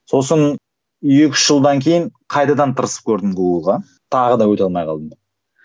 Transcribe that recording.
сосын екі үш жылдан кейін қайтадан тырысып көрдім гугл ға тағы да өте алмай қалдым